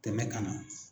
Tɛmɛ ka na